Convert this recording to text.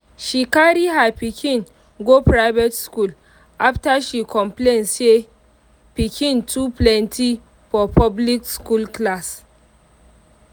she carry her pikin go private school after she complain say piken too pleny for public school class.